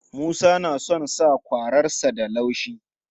Musa na son sakwararsa da laushi.